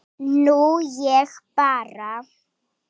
Nú ég bara.